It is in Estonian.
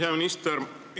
Hea minister!